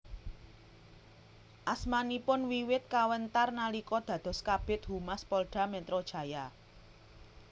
Asmanipun wiwit kawentar nalika dados Kabid Humas Polda Metro Jaya